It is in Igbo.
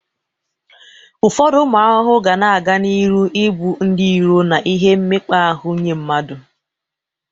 Ụfọdụ ụmụ arụrụ ga na-aga n'ịrụ i bụ ndị iro na ihe mmekpa ahụ nye mmadu